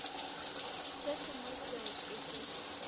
se sengwe seo ke se